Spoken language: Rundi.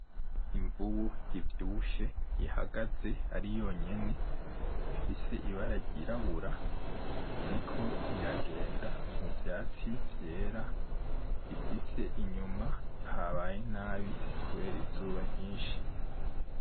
Imvubu ivyibushe ihagaze ari yonyene ifise ibara ryirabura iriko iragenda muvyatsi vyera, ifise inyuma habaye nabi kubera izuba ryinshi